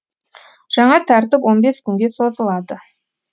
жаңа тәртіп он бес күнге созылады